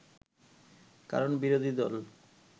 কারণ বিরোধী দল